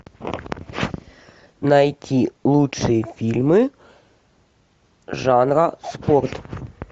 найти лучшие фильмы жанра спорт